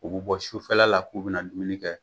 U bɛ bɔ sufɛla la k'u bɛna dumuni kɛ